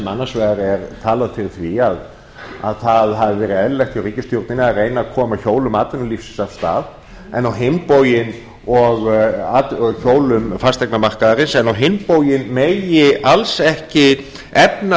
annars vegar er talað fyrir því að það hafi verið eðlilegt hjá ríkisstjórninni að reyna að koma hjólum atvinnulífsins og hjólum fasteignamarkaðarins af stað en á hinn bóginn megi alls ekki efna